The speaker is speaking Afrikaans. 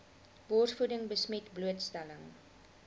borsvoeding besmet blootstelling